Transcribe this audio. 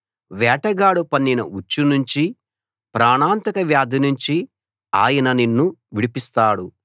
వేటగాడు పన్నిన ఉచ్చు నుంచి ప్రాణాంతకవ్యాధి నుంచి ఆయన నిన్ను విడిపిస్తాడు